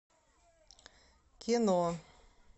кино